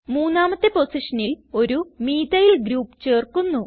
മൂന്നാമത്തെ പൊസിഷനിൽ ഒരു മീഥൈൽ ഗ്രൂപ്പ് ചേർക്കുന്നു